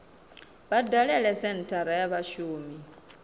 vha dalele senthara ya vhashumi